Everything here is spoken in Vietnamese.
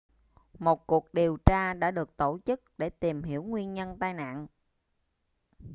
một cuộc điều tra đã được tổ chức để tìm hiểu nguyên nhân tai nạn